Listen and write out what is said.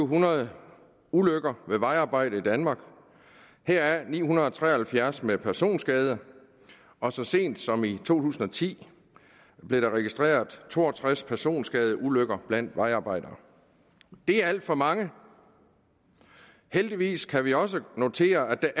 hundrede ulykker ved vejarbejder i danmark heraf ni hundrede og tre og halvfjerds med personskade og så sent som i to tusind og ti blev der registreret to og tres personskadeulykker blandt vejarbejdere det er alt for mange heldigvis kan vi også notere at